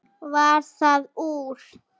Varð það úr.